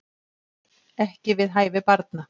Ekki við hæfi barna